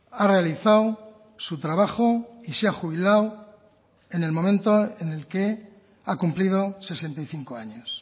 ha realizado su trabajo y se ha jubilado en el momento en el que ha cumplido sesenta y cinco años